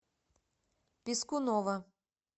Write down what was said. пискунова